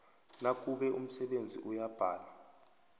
nakube umsebenzi uyabhala